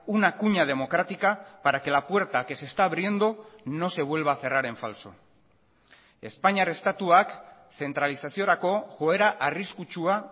una cuña democrática para que la puerta que se está abriendo no se vuelva a cerrar en falso espainiar estatuak zentralizaziorako joera arriskutsua